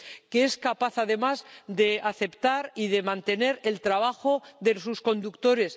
Que es capaz, además, de aceptar y de mantener el trabajo de sus conductores.